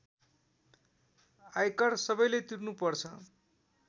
आयकर सबैले तिर्नुपर्छ